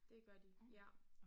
Det gør de ja